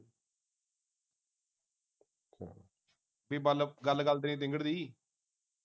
ਬਈ ਮੰਨ ਗੱਲ ਗੱਲ ਤੇ ਨੀ